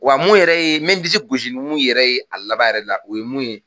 Wa mun yɛrɛ ye me disi gosi numu yɛrɛ ye a laban yɛrɛ la o ye mun ye